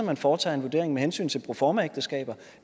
man foretager en vurdering med hensyn til proformaægteskaber